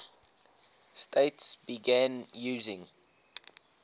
states began using